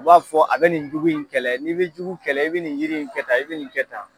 U b'a fɔ a bɛ nin jugu in kɛlɛ n'i bɛ jugu kɛlɛ i bɛ nin yiri in kɛtan i bɛ nin kɛtan.